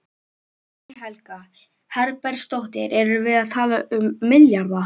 Guðný Helga Herbertsdóttir: Erum við að tala um milljarða?